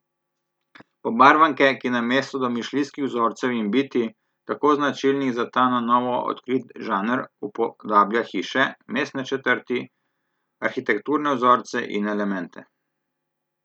Pobarvanke, ki namesto domišljijskih vzorcev in bitij, tako značilnih za ta na novo odkrit žanr, upodablja hiše, mestne četrti, arhitekturne vzorce in elemente ...